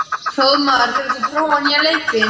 Hróðmar, hefur þú prófað nýja leikinn?